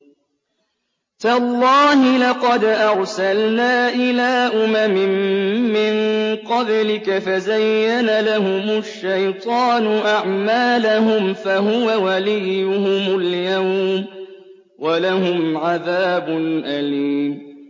تَاللَّهِ لَقَدْ أَرْسَلْنَا إِلَىٰ أُمَمٍ مِّن قَبْلِكَ فَزَيَّنَ لَهُمُ الشَّيْطَانُ أَعْمَالَهُمْ فَهُوَ وَلِيُّهُمُ الْيَوْمَ وَلَهُمْ عَذَابٌ أَلِيمٌ